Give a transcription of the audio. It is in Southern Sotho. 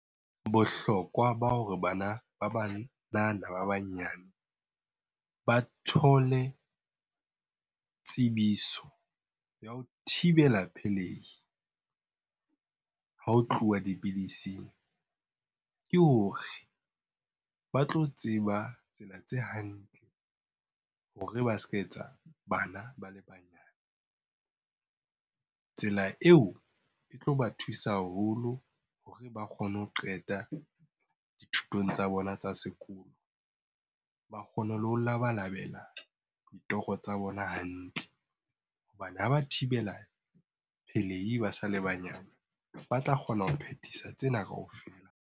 Bohlokwa ba hore bana ba banana ba banyane ba thole tsebiso ya ho thibela pelehi ha ho tluwa dipidising, ke hore ba tlo tseba tsela tse hantle hore ba s'ka etsa bana ba le banyane. Tsela eo e tlo ba thusa haholo hore ba kgone ho qeta dithutong tsa bona tsa sekolo. Ba kgone le ho le labalabela ditoro tsa bona hantle hobane ha ba thibela pelei ba sa le banyane, ba tla kgona ho phethisa tsena kaofela.